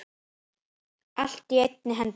Allt á einni hendi.